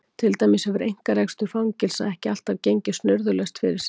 Til dæmis hefur einkarekstur fangelsa ekki alltaf gengið snurðulaust fyrir sig.